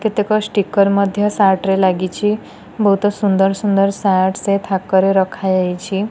କେତେକ ଷ୍ଟିକର ମଧ୍ୟ ସାର୍ଟ ରେ ଲାଗିଛି ବହୁତ ସୁନ୍ଦର ସୁନ୍ଦର ସାର୍ଟ ସେ ଥାକରେ ରଖାଯାଇଛି।